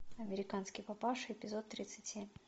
американский папаша эпизод тридцать семь